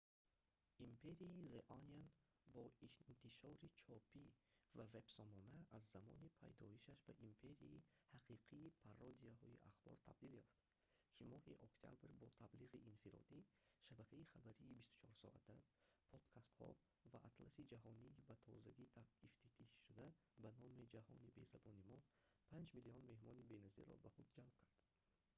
империяи the onion бо интишори чопӣ ва вебсомона аз замони пайдоишаш ба империяи ҳақиқии пародияҳои ахбор табдил ёфт ки моҳи октябр бо таблиғи инфиродӣ шабакаи хабарии 24-соата подкастҳо ва атласи ҷаҳонии ба тозагӣ ифтитиҳшуда бо номи ҷаҳони безабони мо 5 000 000 меҳмонони беназирро ба худ ҷалб кард